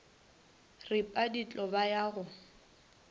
ripa ditho ba ya go